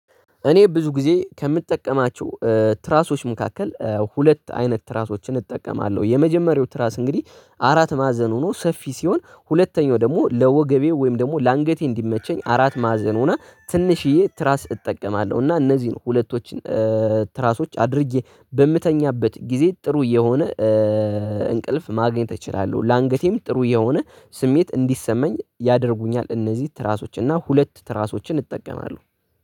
እኔ ብዙ ጊዜ ከምጠቀማቸው ትራሶች መካከል ሁለት አይነት ትራሶችን እጠቀማለሁ የመጀመሪያው ትራስ እንግዲህ አራት ማዘን ሆኖ ሰፊ ሲሆን ሁለተኛው ደግሞ ለወገቤው ወይም ደግሞ ለአንገቴ እንዲመቸኝ አራት ማዘን ሆና ትንሽዬ ትራስ እጠቀማለሁ እና እነዚህን ሁለቶች ትራሶች አድርጌ በምተኛበት ጊዜ ጥሩ የሆነ እንቅልፍ ማግኘት እችላለሁ ለአንገቴም ጥሩ የሆነ ስሜት እንዲሰማኝ ያደርጉኛል። እነዚህ ትራሶች እና ሁለት ትራሶችን እጠቀማለሁ